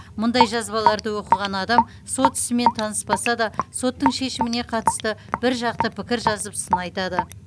мұндай жазбаларды оқыған адам сот ісімен таныспаса да соттың шешіміне қатысты бір жақты пікір жазып сын айтады